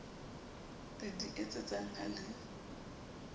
le di etetseng ha le